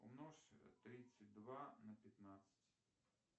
умножь тридцать два на пятнадцать